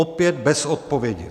Opět bez odpovědi!